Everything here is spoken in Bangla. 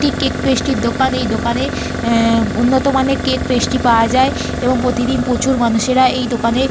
একটি কেক প্যাস্ট্রি -এর দোকান। এই দোকানে এহঃ উন্নত মানের কেক প্যাস্ট্রি পাওয়া যায় এবং প্রতিদিন প্রচুর মানুষেরা এই দোকানে --